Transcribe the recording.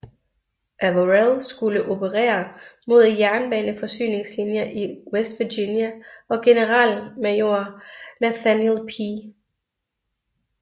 Averell skulle operere mod jernbaneforsyningslinjer i West Virginia og generalmajor Nathaniel P